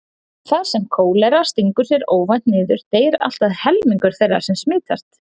Þar sem kólera stingur sér óvænt niður deyr allt að helmingur þeirra sem smitast.